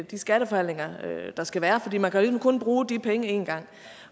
de skatteforhandlinger der skal være for man kan jo kun bruge de penge én gang